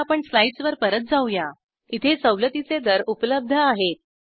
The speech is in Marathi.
आता आपण स्लाइड्सवर परत जाऊया इथे सवलतीचे दर उपलब्ध आहेत